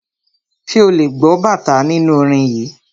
Ṣé ò lè gbọ́ bàtá nínú orin yìí.